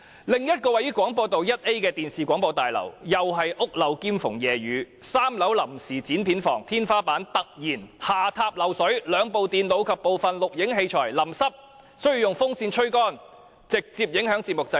另一座位於廣播道 1A 的電視大廈同樣是"屋漏兼逢夜雨 "，3 樓臨時剪片房的天花板突然下塌漏水，兩部電腦及部分錄影器材被淋濕，需要用風扇吹乾，直接影響節目製作。